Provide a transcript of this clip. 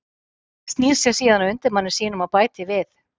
Snýr sér síðan að undirmanni sínum og bætir við